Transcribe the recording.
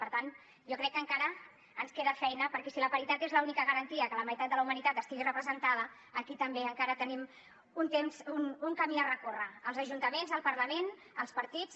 per tant jo crec que encara ens queda feina perquè si la paritat és l’única garantia que la meitat de la humanitat estigui representada aquí també encara tenim un camí a recórrer als ajuntaments al parlament als partits